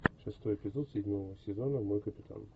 шестой эпизод седьмого сезона мой капитан